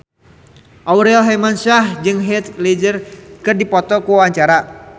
Aurel Hermansyah jeung Heath Ledger keur dipoto ku wartawan